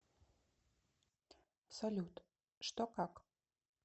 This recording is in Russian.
салют что как